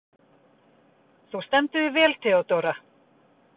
Þú stendur þig vel, Theódóra!